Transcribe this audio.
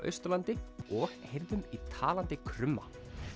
Austurlandi og heyrðum í talandi krumma